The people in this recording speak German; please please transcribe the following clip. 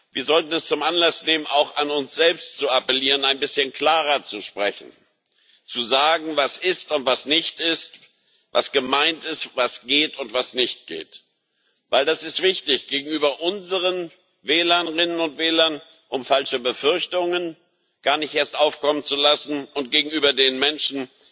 Wir sollten das zum Anlass nehmen, auch an uns selbst zu appellieren, ein bisschen klarer zu sprechen, zu sagen, was ist und was nicht ist, was gemeint ist, was geht und was nicht geht. Denn das ist wichtig gegenüber unseren Wählerinnen und Wählern, um falsche Befürchtungen gar nicht erst aufkommen zu lassen, und gegenüber den Menschen